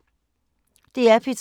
DR P3